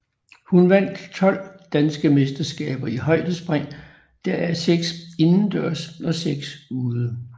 Hun vandt tolv danske mesterskaber i højdespring deraf seks indendørs og seks ude